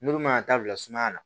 N'olu man kan ka taa bila sumaya la